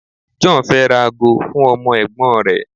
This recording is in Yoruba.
John fẹ ra ago fún ọmọ ègbón rẹ